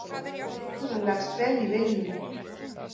Leikurinn leggst vel í Willum.